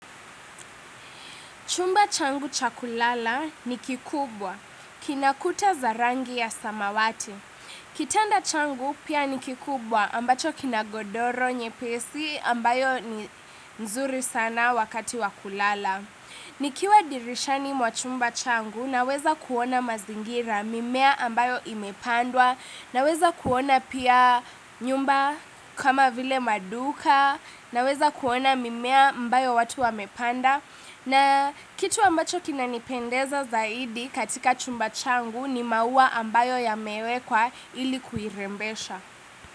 Chumba changu cha kulala ni kikubwa, kinakuta za rangi ya samawati. Kitanda changu pia ni kikubwa ambacho kina godoro nyepesi ambayo ni nzuri sana wakati wa kulala. Nikiwa dirishani mwa chumba changu naweza kuona mazingira mimea ambayo imepandwa, naweza kuona pia nyumba kama vile maduka, naweza kuona mimea ambayo watu wamepanda, na kitu ambacho kinanipendeza zaidi katika chumba changu ni maua ambayo yamewekwa ili kuirembesha.